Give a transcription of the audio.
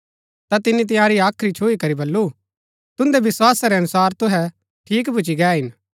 ता तिनी तंयारी हाख्री छुई करी बल्लू तुन्दै विस्‍वासा रै अनुसार तुहै ठीक भूची गै हिन